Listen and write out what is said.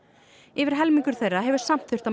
yfir helmingur þeirra hefur samt þurft að